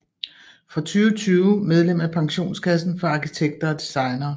Fra 2020 medlem af pensionskassen for arkitekter og designere